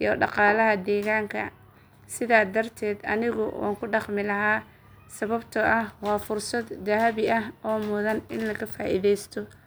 iyo dhaqaalaha deegaanka, sidaa darteed anigu waan ku dhaqmi lahaa sababtoo ah waa fursad dahabi ah oo mudan in la ka faa’iidaysto.